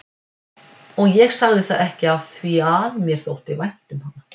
Og ég sagði það ekki afþvíað mér þótti vænt um hana.